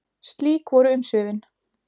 Slík voru umsvifin.